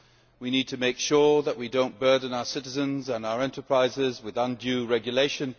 we need to make sure that we do not burden our citizens and our enterprises with undue regulation